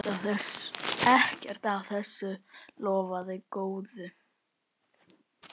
Ekkert af þessu lofaði góðu.